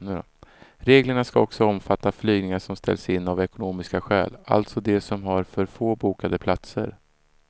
Reglerna ska också omfatta flygningar som ställs in av ekonomiska skäl, alltså de som har för få bokade platser.